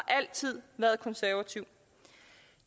altid været konservativ